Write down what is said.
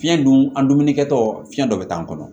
Fiɲɛ dun an dumuni kɛ tɔ fiɲɛ dɔ bɛ k'an kɔnɔ